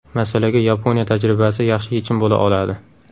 Masalaga Yaponiya tajribasi yaxshi yechim bo‘la oladi.